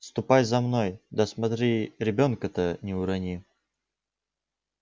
ступай за мной да смотри ребёнка-то не урони